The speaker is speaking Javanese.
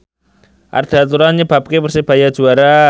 Arda Turan nyebabke Persebaya juara